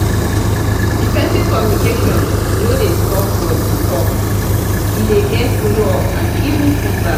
effective communication no dey stop for di talk e de get follow up and even feedback